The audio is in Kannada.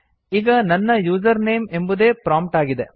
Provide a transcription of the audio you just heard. ಈಗ ನನ್ನ ಯೂಸರ್ ನೇಮ್ ಎಂಬುದೇ ಪ್ರೊಮ್ಪ್ಟ್ ಆಗಿದೆ